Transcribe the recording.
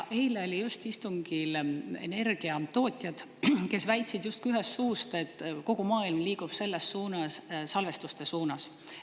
Eile olid just istungil energiatootjad, kes väitsid justkui ühest suust, et kogu maailm liigub selles suunas, salvestuste suunas.